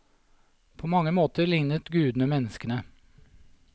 På mange måter lignet gudene menneskene.